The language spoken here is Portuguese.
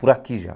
Por aqui já.